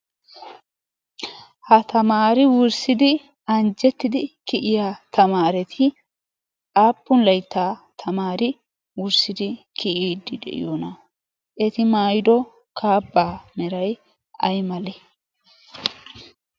ha tamaari wurssidi anjjettidi kiyiya tamaareti aappun layttaa tamaari wurssidi kiyiiddi de'iyoona eti mayido kaaba meray ay male?